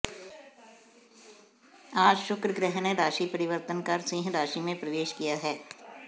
आज शुक्र ग्रह ने राशि परिवर्तन कर सिंह राशि में प्रवेश किया है